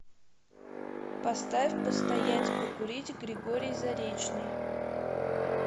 поставь постоять покурить григорий заречный